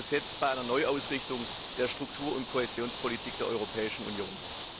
Darum geht es jetzt bei einer Neuausrichtung der Struktur und Kohäsionspolitik der Europäischen Union.